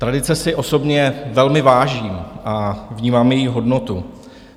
Tradice si osobně velmi vážím a vnímám její hodnotu.